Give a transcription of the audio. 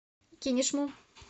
кинешму